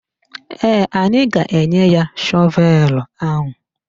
Ee, anyị ga-enye ya shọvelu ahụ.